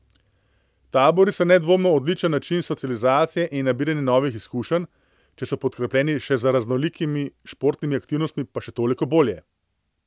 Tabori so nedvomno odličen način socializacije in nabiranje novih izkušenj, če so podkrepljeni še z raznolikimi športnimi aktivnostmi, pa še toliko bolje.